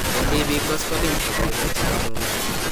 Bendii biik koskoleny koboibochi kamung'e.